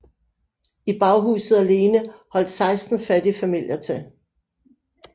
I baghuset alene holdt seksten fattige familier til